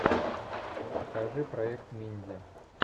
покажи проект минди